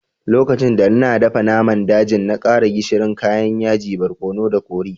Lokacin da n'na dafan naman dajin, na kara gishiri, kayan yaji, barkonu da kori.